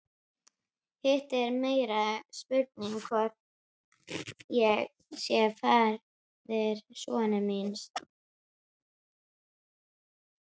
Hitt er meiri spurning hvort ég sé faðir sonar míns.